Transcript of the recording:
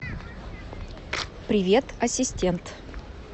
привет ассистент